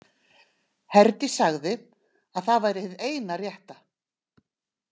Herdís sagði að það væri hið eina rétta.